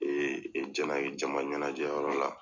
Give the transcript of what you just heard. jɛnaye jama ɲɛnajɛ yɔrɔ la.